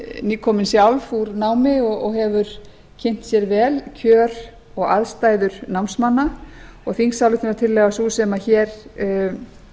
nýkomin sjálf úr námi og hefur kynnt sér vel kjör og aðstæður námsmanna og þingsályktunartillaga sem sem nú